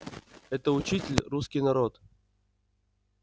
этот учитель русский народ